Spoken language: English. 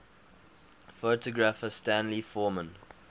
photographer stanley forman